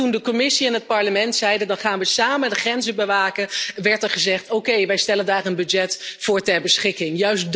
En toen de Commissie en het Parlement zeiden dan gaan we samen de grenzen bewaken, werd er gezegd oké, wij stellen daar een budget voor ter beschikking.